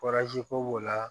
ko b'o la